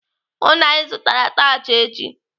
Hụụ na Ị zụtara atachị echi!